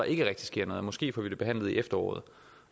ikke rigtig sker noget måske får vi det behandlet i efteråret